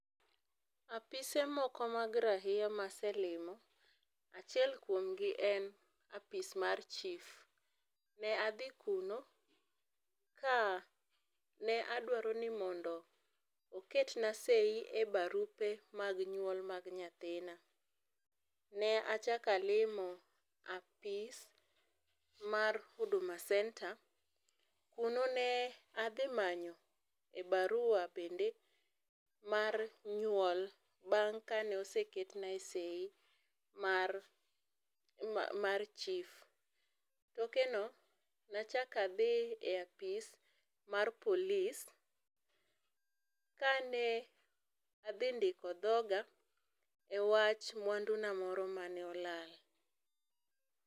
Apise moko mag rahia ma aselimo ,achiel kuom gi en apis mar chief, ne adhi kuno kane adwaro ni mondo oket na seii e barupe mag nyuol mag nyathina. Ne achak alimo apis mar Huduma Centre ,kuno ne adhi manyo barua bende mar nyuol bang kane oseketnae seii mar chief. Tokendo ne achak adhi e apis mar polis kane adhi ndiko dhoga ne e wach mwandu na moro mane olal